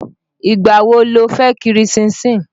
Ìgbà wo lo fẹ́ kiri ṣínṣin?